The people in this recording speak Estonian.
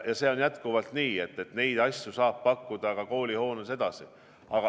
Ja see on jätkuvalt nii, neid asju saab pakkuda koolihoones edasi.